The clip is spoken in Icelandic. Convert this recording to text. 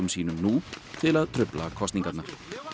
sínum nú til að trufla kosningarnar